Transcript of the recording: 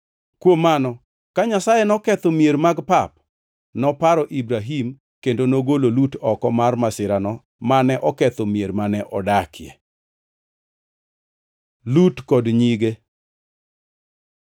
Kuom mano ka Nyasaye noketho mier mag pap, noparo Ibrahim kendo nogolo Lut oko mar masirano mane oketho mier mane odakie. Lut kod nyige